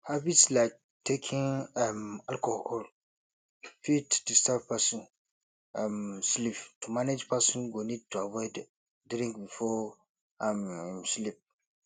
habits like taking um alcohol fit disturb person um sleep to manage person go need to avoid drink before um im sleep